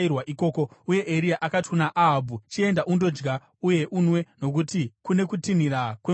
Uye Eria akati kuna Ahabhu, “Chienda undodya uye unwe, nokuti kune kutinhira kwemvura zhinji.”